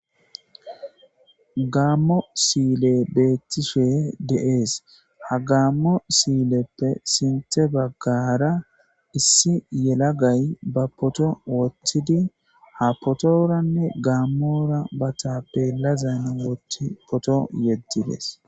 gaammo siile beettishe deees ha gaammo siileppe sinte baggara issi yelagay ba poto woththidi ha potoranne gaammora ba taapbelazan tpoto yeddides